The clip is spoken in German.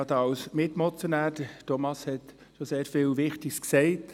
Thomas Brönnimann hat sehr viel Wichtiges bereits erwähnt.